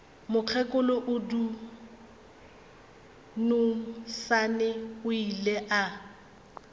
mokgekolo dunusani o ile a